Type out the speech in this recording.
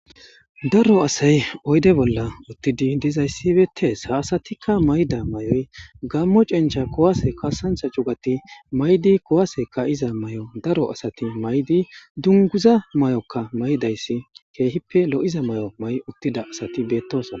Daro asay oyde bolla uttidi dizayssi beetees haasatikka mayda may7oy gammo cencha kowase kasantha cugati maydi kowase kayiza may7o daro asati maydi dunguza may7okka maydayssi keehippe lo7iza may7o may7 uttida asati beettosna.